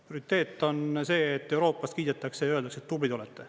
Prioriteet on see, et Euroopas kiidetakse ja öeldakse, et tublid olete.